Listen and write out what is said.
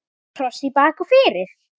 Kross í bak og fyrir.